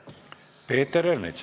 Peeter Ernits.